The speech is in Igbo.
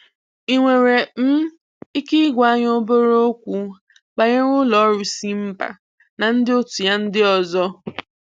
Ị nwere um ike ị gwa anyị obere okwu banyere ụlọ ọrụ Simba na ndị otú ya ndị ọzọ?.